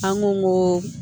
An ko